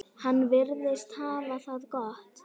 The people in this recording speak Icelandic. Hann virðist hafa það gott.